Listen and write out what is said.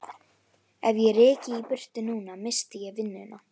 Ef ég ryki í burtu núna missti ég vinnuna.